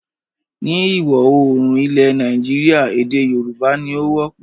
Ni ìwọ̀-oòrùn ilẹ̀ Nàìjíríà èdè Yorùbá ni o wọ́pọ̀